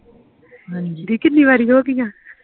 ਦੀਦੀ ਕੀਨੀ ਵਾਰੀ ਹੋਗਿਆ?